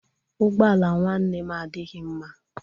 Ụgbọ ala nwanne m adịghị mma.